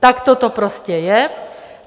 Takto to prostě je.